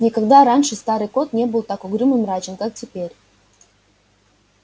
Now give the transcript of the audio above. никогда раньше старый кот не был так угрюм и мрачен как теперь